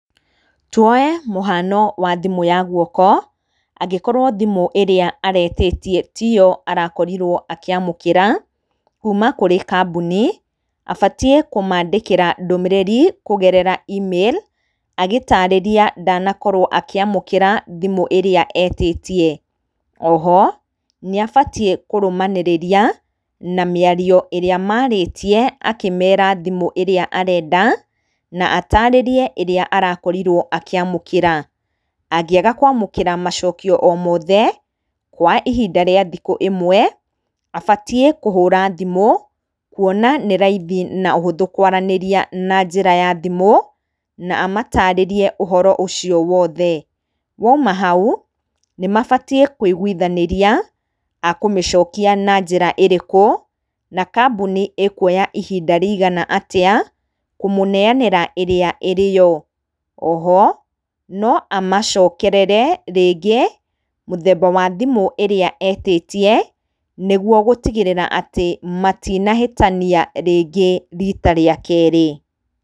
Tuoe mũhano wa thimũ ya gwoko, angĩkorwo thimũ ĩrĩa aretĩtie tiyo arakorirwo akĩamũkĩra, kuuma kũrĩ kambuni, abatiĩ kũmandĩkĩra ndũmĩrĩri, kũgerera e-mail, agĩtarĩria ndanakorwo akĩamũkĩra thimũ ĩrĩa etĩtie, oho, nĩ abatiĩ kũrũmanĩrĩria na mĩario ĩrĩa marĩtie, akĩmera thimũ ĩrĩa arenda, na atarĩrie arĩa arakorirwo akĩamũkĩra, angĩaga kwamũkĩra macokio o mothe, kwa ihinda ria thikũ ĩmwe, abatiĩ kũhũra thimũ, kuona nĩraithi na ũhũthũ kwaranĩria na njĩra ya thimũ na amatarĩrie ũhoro ũcio wothe, waima hau, nĩ mabatiĩ kwĩigwithanĩria, ekũmĩcokia na njĩra ĩrĩkũ, na kambuni ĩkuoya ihinda rĩigana atĩa, kũmũneanĩra ĩrĩa ĩrĩyo, oho no amacokerere rĩngĩ, mũthemba wa thimũ ĩrĩa etĩtie, nĩguo gũtigĩrĩra atĩ, matinahĩtania rĩngĩ rita rĩa kerĩ.